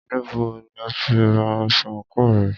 Níbo ni o tí ra aṣọ àńkò rẹ?